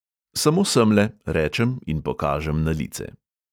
"Samo semle," rečem in pokažem na lice.